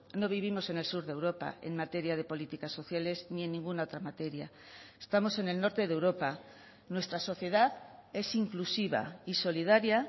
no vivimos en el sur de europa en materia de políticas sociales ni en ninguna otra materia estamos en el norte de europa nuestra sociedad es inclusiva y solidaria